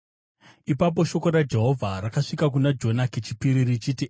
Ipapo shoko raJehovha rakasvika kuna Jona kechipiri richiti,